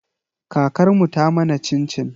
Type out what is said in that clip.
Kakar mu ta mana cin-cin.